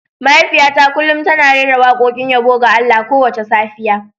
Mahaifiyata kullum tana rera wakokin yabo ga Allah kowace safiya.